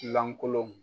Lankolon